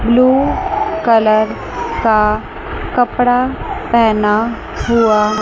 blue colour का कपड़ा पहना हुआ--